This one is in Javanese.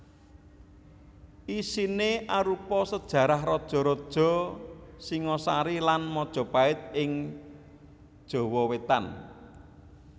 Isiné arupa sajarah raja raja Singasari lan Majapahit ing Jawa Wétan